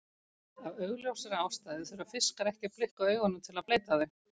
Af augljósri ástæðu þurfa fiskar ekki að blikka augunum til að bleyta þau.